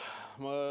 Punkt kaks.